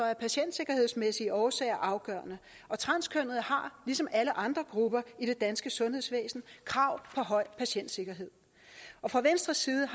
af patientsikkerhedsmæssige årsager afgørende og transkønnede har ligesom alle andre grupper i det danske sundhedsvæsen krav på høj patientsikkerhed fra venstres side